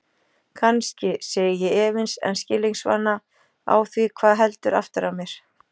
Kannski, segi ég efins en skilningsvana á því hvað heldur aftur af mér.